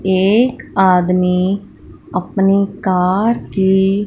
एक आदमी अपनी कार की--